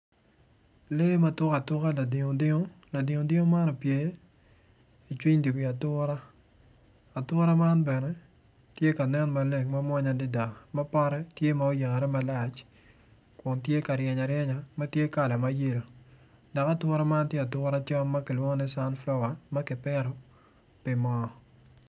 Lee ma tukatuka ladingdingo tye i cwiny dye wi atura atura man bene tye kanen mawonya adada ma pote tye oyare malac adada.